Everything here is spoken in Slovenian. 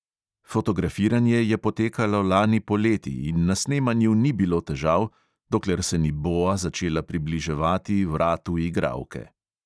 Fotografiranje je potekalo lani poleti in na snemanju ni bilo težav, dokler se ni boa začela približevati vratu igralke.